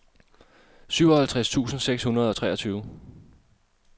syvoghalvtreds tusind seks hundrede og treogtyve